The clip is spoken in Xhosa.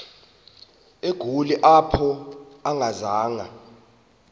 egoli apho akazanga